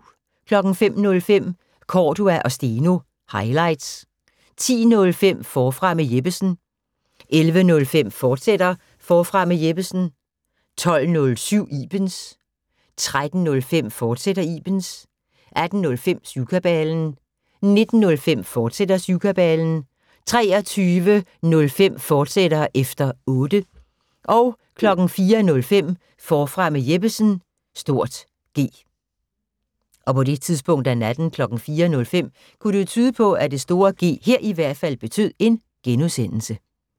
05:05: Cordua & Steno – highlights 10:05: Forfra med Jeppesen 11:05: Forfra med Jeppesen, fortsat 12:07: Ibens 13:05: Ibens, fortsat 18:05: Syvkabalen 19:05: Syvkabalen, fortsat 23:05: Efter Otte, fortsat 04:05: Forfra med Jeppesen (G)